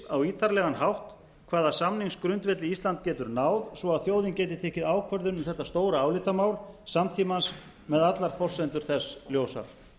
á ítarlegan hátt hvaða samningsgrundvelli ísland getur náð svo að þjóðin geti tekið ákvörðun um þetta stóra álitamál samtímans með allar forsendur þess ljósar